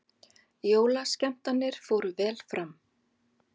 Jólaskemmtanir fóru vel fram